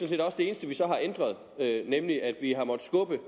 set også det eneste vi så har ændret nemlig at vi har måttet skubbe